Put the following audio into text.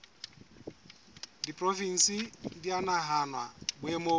diporofensi di a nahanwa boemong